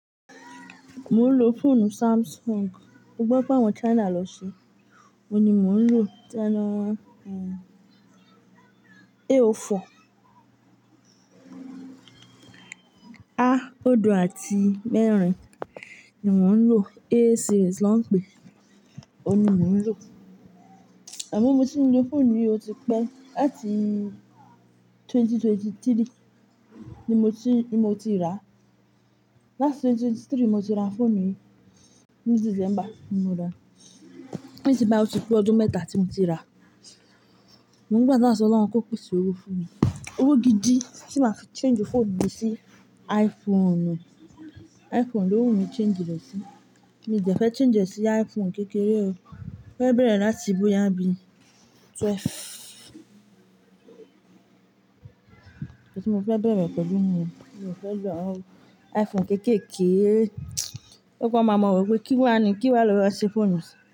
Mo ń lo fóònù Samsung, mo gbọ́ pe àwọn China lo ṣe. Óun ni mò ń lò, e o fọ. A ódo àti mẹ́rin ni mò ń lò. E series ló ń pè é, óun ni mò ń lò. Àmọ́ mo ti ń lo fóònù yìí ó ti pẹ́, láti 2023 ni mo ti ni mo ti rà á. Lati 2023 ni mo ti ra fóònù yìí, ní December ni mo ra á. Ni sin báyi ó ti pé ọdún mẹ́ta tí mo ti rà á. Mo gba dua si Ọlọ́un kó pèsè owó fún mi. Owó gidi tí máa fi change fóònù yìí sí iPhone. iPhone ni ó wù mí change rẹ̀ sí. Mi o dẹ̀ fẹ́ change rẹ̀ sí iPhone kékeré o, fẹ́ bẹ̀rẹ̀ láti bóyá bí 12. Oum mo fẹ́ bẹ̀rẹ̀ pẹ̀lú nìyẹn, mi o fẹ́ lo iPhone kéékèèké. Gbogbo wọ́n má ma wo pé kí wá ni, kí wá lọ ra ṣe fóònù si.